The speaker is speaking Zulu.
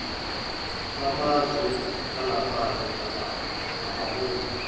bamazwe angaphandle abaholi